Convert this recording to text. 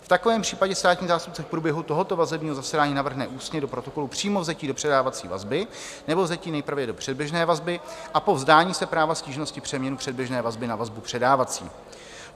V takovém případě státní zástupce v průběhu tohoto vazebního zasedání navrhne ústně do protokolu přímo vzetí do předávací vazby nebo vzetí nejprve do předběžné vazby a po vzdání se práva stížnosti přeměnu předběžné vazby na vazbu předávací.